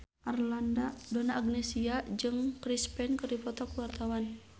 Donna Agnesia jeung Chris Pane keur dipoto ku wartawan